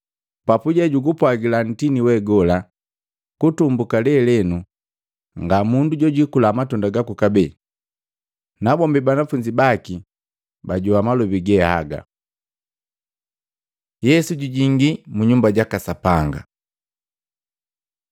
Papuje jugupwagila nkoju we gola, “Kutumbuka leleno nga mundu jojikula matunda gaku kabee.” Nabombi banafunzi baki bajoa malobi ge haga. Yesu jujingii munyumba jaka Sapanga Matei 21:12-17; Luka 19:45-48; Yohana 2:13-22